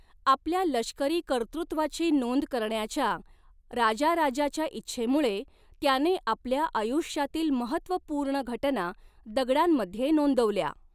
आपल्या लष्करी कर्तृत्वाची नोंद करण्याच्या राजाराजाच्या इच्छेमुळे, त्याने आपल्या आयुष्यातील महत्त्वपूर्ण घटना दगडांमध्ये नोंदवल्या.